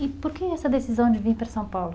E por que essa decisão de vir para São Paulo?